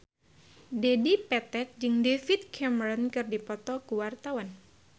Dedi Petet jeung David Cameron keur dipoto ku wartawan